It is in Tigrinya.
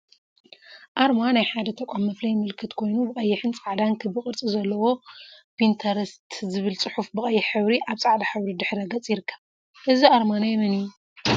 አርማ አርማ ናይ ሓደ ተቋም መፍለይ ምልክት ኮይኑ፤ ብቀይሕን ፃዕዳን ክቢ ቅርፂ ዘለዎ ፒንተረስት ዝብል ፅሑፍ ብቀይሕ ሕብሪ አብ ፃዕዳ ሕብሪ ድሕረ ገፅ ይርከብ፡፡ እዚ አርማ ናይ መን እዩ?